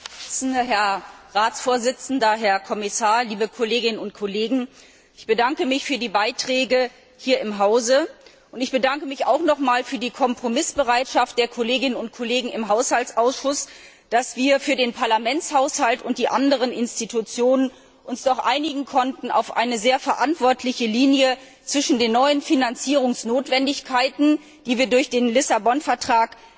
Frau Präsidentin, Herr Ratsvorsitzender, Herr Kommissar, liebe Kolleginnen und Kollegen! Ich bedanke mich für die Beiträge hier im Hause, und ich bedanke mich auch noch einmal für die Kompromissbereitschaft der Kolleginnen und Kollegen im Haushaltsausschuss, die es ermöglicht hat, dass wir uns für den Parlamentshaushalt und die anderen Institutionen doch auf eine sehr verantwortliche Linie zwischen den neuen Finanzierungsnotwendigkeiten, die wir durch den Lissabon Vertrag